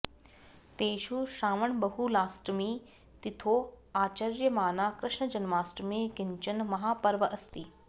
तेषु श्रावणबहुलाष्टमी तिथौ आचर्यमाना कृष्णजन्माष्टमी किञ्चन महापर्व अस्ति